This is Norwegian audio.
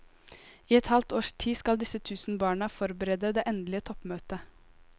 I et halvt års tid skal disse tusen barna forberede det endelige toppmøtet.